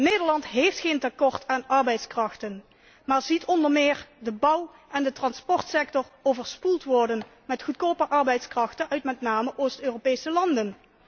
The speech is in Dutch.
Nederland heeft geen tekort aan arbeidskrachten, maar ziet onder meer de bouw en de transportsector overspoeld worden met goedkope arbeidskrachten uit met name Oost Europese landen.